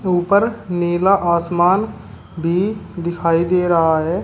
ऊपर नीला आसमान भी दिखाई दे रहा है।